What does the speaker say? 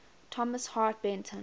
thomas hart benton